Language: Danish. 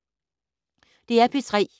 DR P3